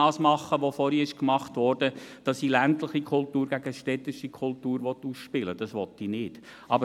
Ich will nicht ländliche gegen städtische Kultur ausspielen, wie dies vorhin gemacht wurde.